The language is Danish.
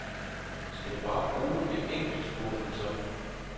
Skal du bare bruge et enkelt, spurgte han så.